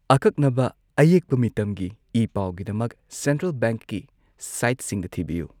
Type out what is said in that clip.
ꯑꯀꯛꯅꯕ ꯑꯌꯦꯛꯄ ꯃꯤꯇꯝꯒꯤ ꯏ ꯄꯥꯎꯒꯤꯗꯃꯛ ꯁꯦꯟꯇ꯭ꯔꯦꯜ ꯕꯦꯡꯛꯀꯤ ꯁꯥꯏꯠꯁꯤꯡꯗ ꯊꯤꯕꯤꯌꯨ꯫